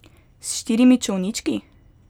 S štirimi čolnički?